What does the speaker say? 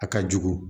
A ka jugu